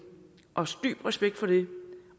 også dyb respekt for det